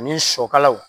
Ani sɔkalaw